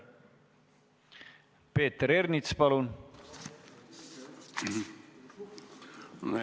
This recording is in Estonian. Peeter Ernits, palun!